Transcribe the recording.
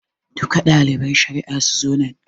Duka ɗaliban shari'a su zo nan.